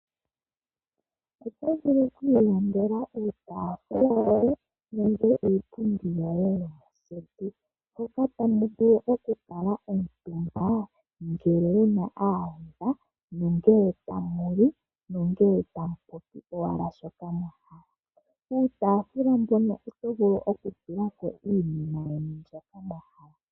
Oto vulu oku ilandela iitaafula niipundi yoye mpoka tamu vulu oku kala omutumba naayenda yoye, ngele tamu li nongele tamu popi shoka mwa hala. Piitaafula mpoka oto vulu oku ntenteka po shoka wa hala.